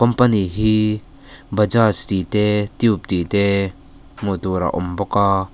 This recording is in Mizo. company hi bajaj tih te tube tih te hmuh tur a awm aaa.